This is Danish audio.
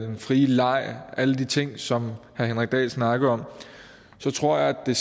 den frie leg og alle de ting som herre henrik dahl snakkede om så tror jeg at det